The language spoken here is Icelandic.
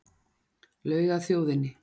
Laug að þjóðinni